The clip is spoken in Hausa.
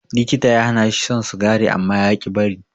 Likita ya hanashi shan sigari amma yaƙi bari.